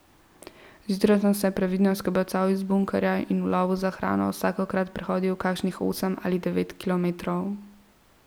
Zjutraj sem se previdno skobacal iz bunkerja in v lovu za hrano vsakokrat prehodil kakšnih osem ali devet kilometrov.